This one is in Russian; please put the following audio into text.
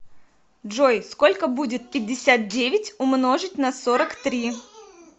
джой сколько будет пятьдесят девять умножить на сорок три